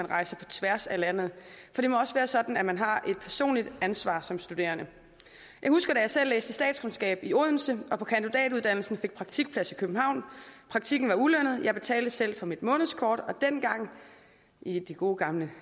rejse på tværs af landet for det må også være sådan at man har et personligt ansvar som studerende jeg husker da jeg selv læste statskundskab i odense og på kandidatuddannelsen fik praktikplads i københavn praktikken var ulønnet og jeg betalte selv for mit månedskort dengang i de gode gamle